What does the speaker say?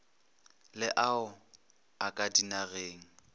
le ao a ka dinageng